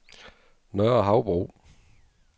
Nørre Havbro